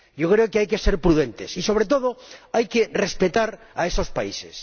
Yo creo que hay que ser prudentes y sobre todo, hay que respetar a esos países.